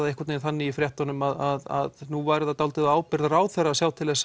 einhvern veginn þannig í fréttunum að nú væri það dálítið á ábyrgð ráðherra að sjá til